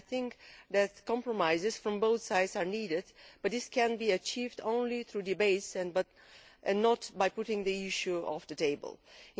I think that compromises from both sides are needed, but this can be achieved only through debates and not by taking the issue off the agenda.